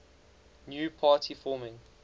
new party forming